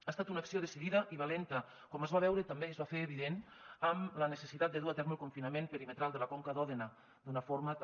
ha estat una acció decidida i valenta com es va veure també i es va fer evident amb la necessitat de dur a terme el confinament perimetral de la conca d’òdena d’una forma també